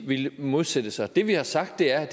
villet modsætte sig det vi har sagt er